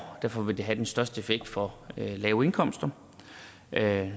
derfor vil det have den største relative effekt for lave indkomster jeg